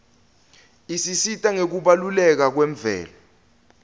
isisita ngekubaluleka kwemvelo